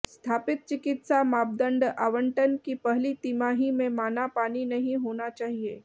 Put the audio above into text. स्थापित चिकित्सा मापदंड आवंटन की पहली तिमाही में माना पानी नहीं होना चाहिए